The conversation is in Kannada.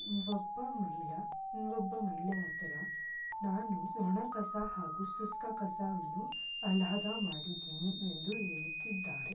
ಇಲ್ಲಿ ಒಬ್ಬ ಮಹಿಳಾ ಇನ್ನೊಬ್ಬ ಮಹಿಳೆ ಆಗ್ತೀರಾ ನಾನು ಸ್ವರ್ಣ ಕಸ ಹಾಗೂ ಶುಷ್ಕ ಕಸವನ್ನು ಹದ ಮಾಡಿದೀನಿ ಎಂದು ಹೇಳುತ್ತಿದ್ದಾರೆ.